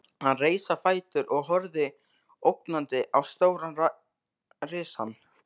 Hann reis á fætur og horfði ógnandi á stóran risann.